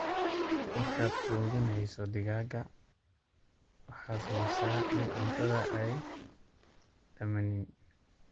Markaad quudhineysoo digaaga, waxaad hubisa in cuntadha aay dhamanin.